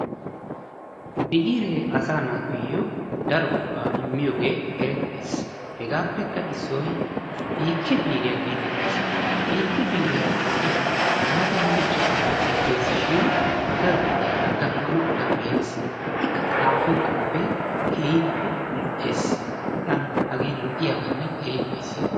Biiree asaa naatuyo daro go'aa immiyoge erettees. Hegaappekka issoy biikke biiriya geetettees. Biikke biire ha woddiyan laatamanne ichchashu biraa ekkees shin daro wodiya gam'anawu danddayees. Ikka xaafiyo xuufee keehippe lo'ees, tana hagee lo'iyabanne keehi ufayssiyaba.